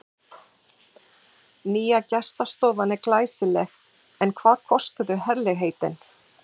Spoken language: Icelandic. Nýja gestastofan er glæsileg en hvað kostuðu herlegheitin?